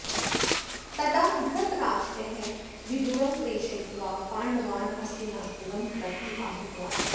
तदा धृतराष्टः विदुरं प्रेषयित्वा पाण्डवान् हस्तिनापुरं प्रति आहूतवान्